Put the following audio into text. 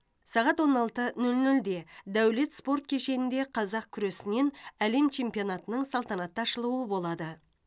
сағат он алты нөл нөлде дәулет спорт кешенінде қазақ күресінен әлем чемпионатының салтанатты ашылуы болады